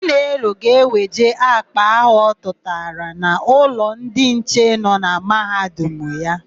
Chinelo ga-eweje àkpà áhụ̀ ọ tụtara n'ụlọ ndị nche nọ na Mahadum ya.